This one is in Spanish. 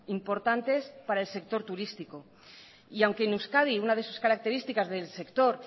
importantes para el sector turístico y aunque en euskadi una de sus características del sector